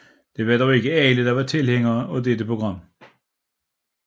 Det var dog ikke alle der var tilhængere af dette program